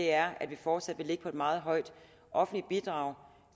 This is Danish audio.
er at vi fortsat vil ligge på et meget højt offentligt bidrag